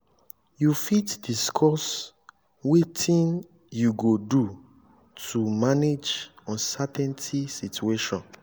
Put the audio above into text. you fit discuss wetin you go do to manage uncertainty situation?